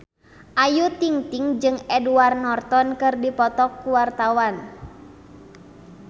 Ayu Ting-ting jeung Edward Norton keur dipoto ku wartawan